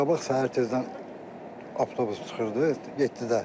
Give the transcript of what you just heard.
Bundan qabaq səhər tezdən avtobus çıxırdı yeddidə.